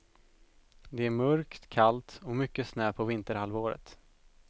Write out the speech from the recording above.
Det är mörkt, kallt och mycket snö på vinterhalvåret.